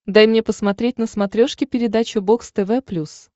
дай мне посмотреть на смотрешке передачу бокс тв плюс